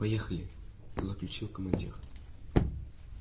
поехали заключил командир